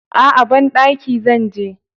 A'a, banɗaki zan je.